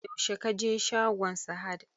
yaushe ka je shagon Sahad?